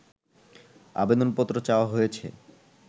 আবেদনপত্র চাওয়া হয়েছে